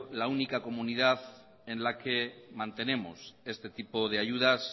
la única comunidad en la que mantenemos este tipo de ayudas